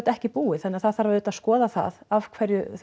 ekki búið þannig að það þarf auðvitað að skoða það af hverju